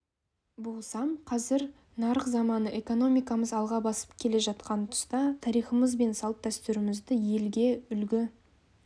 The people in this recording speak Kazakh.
болсам қазір нарық заманы экономикамыз алға басып келе жатқан тұста тарихымыз бен салт-дәстүрімізді елге үлгі